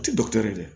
U tɛ dɔgɔtɔrɔ ye dɛ